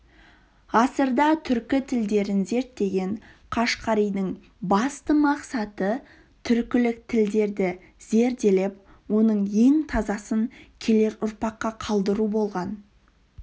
ғасырда түркі тілдерін зерттеген қашқаридың басты мақсаты түркілік тілдерді зерделеп оның ең тазасын келер ұрпаққа қалдыру болған